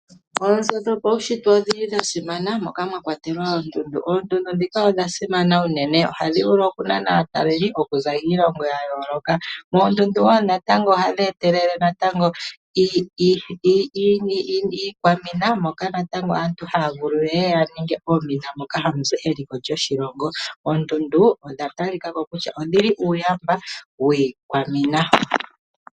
Oonzo dhopaushitwe odhili dha simana moka mwa kwatelwa oondundu. Oondundu dhika odha simana unene ohadhi vulu okunana aataleli okuza kiilongo ya yooloka. Oondundu wo natango ohadhi etelele natango iikwamina moka natango aantu haya vulu yeye yaninge oomina moka hamuzi eliko lyoshilongo. Oondundu odha talikako kusha odhili uuyamba wiikwamina.